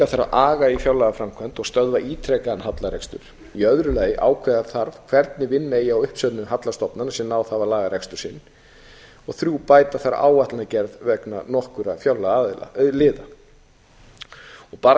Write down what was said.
þarf aga í fjárlagaframkvæmd og stöðva ítrekaðan hallarekstur í öðru lagi ákveða þarf hvernig vinna eigi á uppsöfnuðum halla stofnana sem ná að laga rekstur sinn þriðja bæta þarf áætlanagerð vegna nokkurra fjárlagaliða bara